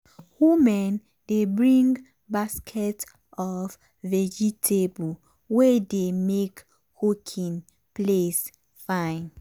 women dey bring basket of vegetable wey dey make cooking place fine.